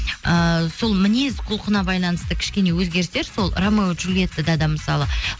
ыыы сол мінез құлқына байланысты кішкене өзгерістер сол рамео джулиеттада да мысалы